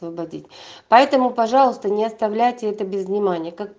поэтому пожалуйста не оставляйте это без внимания